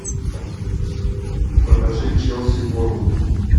покажи челси борнмут